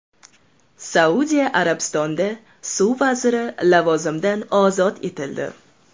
Saudiya Arabistonida suv vaziri lavozimidan ozod etildi.